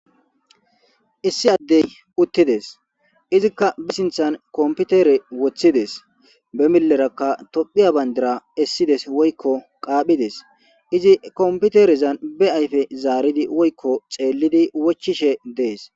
Issi addey uttides.izika be sinthan kompitere woththidees.qasseka be miiyera Tophphiya bandira essidees woyko qaaphides. Izi he komoiterezan be ayfe zaaridi woyko xeelidi wochchishe dees.